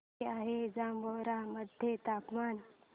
किती आहे जांभोरा मध्ये तापमान